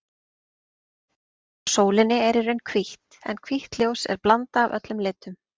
Ljósið frá sólinni er í raun hvítt en hvítt ljós er blanda af öllum litum.